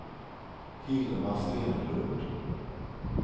Hilma Stenlund